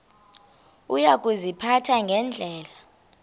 uya kuziphatha ngendlela